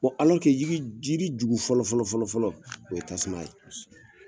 kɛ yiri jugu fɔlɔ fɔlɔ, o ye tasuma ye.